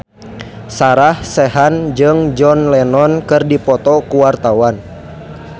Sarah Sechan jeung John Lennon keur dipoto ku wartawan